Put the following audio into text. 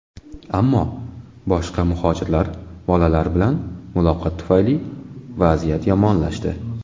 Ammo boshqa muhojirlar bolalar bilan muloqot tufayli vaziyat yomonlashdi.